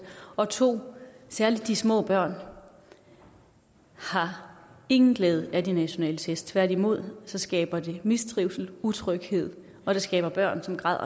og 2 særlig de små børn har ingen glæde af de nationale test tværtimod skaber de mistrivsel utryghed og de skaber børn som græder